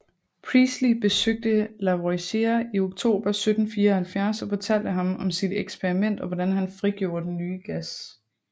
Priestley besøgte Lavoisier i oktober 1774 og fortalte ham om sit eksperiment og hvordan han frigjorde den nye gas